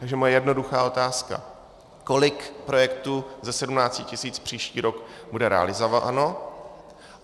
Takže moje jednoduchá otázka: Kolik projektů ze 17 tis. příští rok bude realizováno?